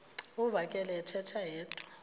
uvakele ethetha yedwa